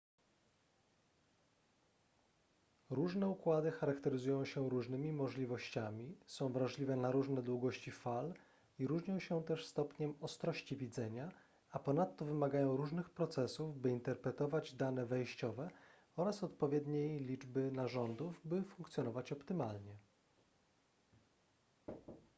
różne układy charakteryzują się różnymi możliwościami są wrażliwe na różne długości fal i różnią się też stopniem ostrości widzenia a ponadto wymagają różnych procesów by interpretować dane wejściowe oraz odpowiedniej liczby narządów by funkcjonować optymalnie